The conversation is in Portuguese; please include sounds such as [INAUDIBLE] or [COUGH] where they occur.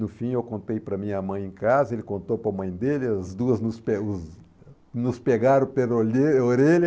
No fim, eu contei para a minha mãe em casa, ele contou para a mãe dele, as duas nos [UNINTELLIGIBLE] nos pegaram pela olheira orelha.